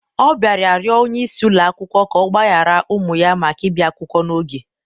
Ọ bịara rịọ onye isi ụlọ akwụkwọ ka ọ gbaghara ụmụ ya maka ịbịa akwụkwọ n'oge